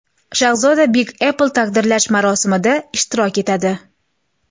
Shahzoda Big apple taqdirlash marosimida ishtirok etadi.